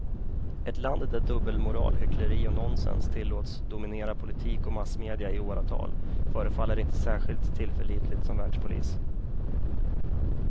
Ett land där dubbelmoral, hyckleri och nonsens tillåts dominera politik och massmedia i åratal förefaller inte särskilt tillförlitligt som världspolis.